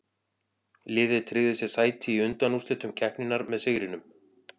Liðið tryggði sér sæti í undanúrslitum keppninnar með sigrinum.